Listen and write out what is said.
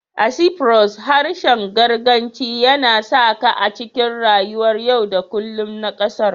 A Cyprus, harshen Girkanci yana saƙa a cikin rayuwar yau da kullum na ƙasar